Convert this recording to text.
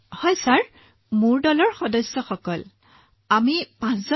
হয় দলৰ সদস্য আমি পাঁচজন লোক